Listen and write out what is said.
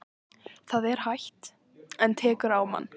Það er hægt. en tekur á mann.